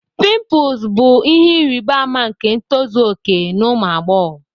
Pimples bụ ihe ịrịba ama nke ntozu okè na ụmụ agbọghọ